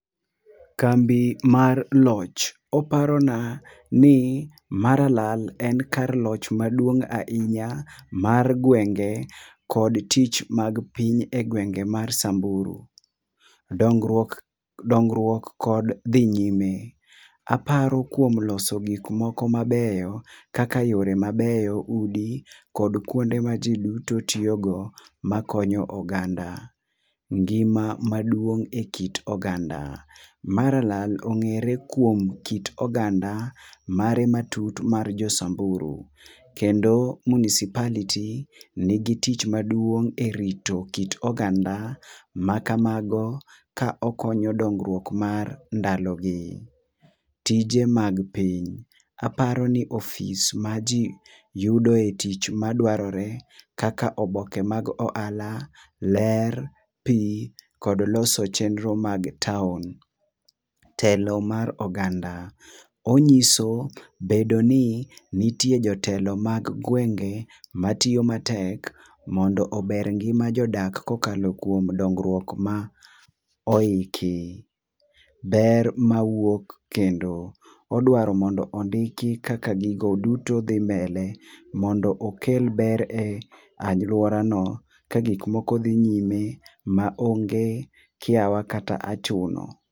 Kambi mar loch, oparo na ni Marala en kar loch maduong' ahinya mar gwenge kod tich mar piny e gwenge mag Samburu. Dongruok kod dhi nyime apro kuom loso gik moko ma beyo kaka yore mabeyo, udi kod kuonde ma ji duto ntiyo go ma konyo oganda, ngima maduong e kit oganda. Maralal ongere kyuom kit oganda mare ma tut ar jo samburu . Kendo municipality ni gi tich maduong e rito kit oganda ma ka mago ka okonyo dongruok mar ndalo gi. Tije mag piny, aparoni ofis ma ji yude e tich ma dwarore kaka oboke mag ohala, ler pi kod loso chenro ma town. Telo mar oganda, ong'iso bedoni nitie jotelo mag gwenge ma tiyo matek mondo oger ngima jodak ka okalo kuom dongruok ma oiki, ber ma wuok kendo, odwaro mondo ondiki kaka gi duto dhi mbele mondo okel ber ne aluora no ka gik moko dhi nyime ma onge kiawa kata achuno.